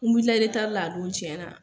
N wulila a don tiɲɛnna.